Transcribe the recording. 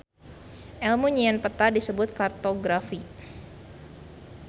Elmu nyieun peta disebut kartografi.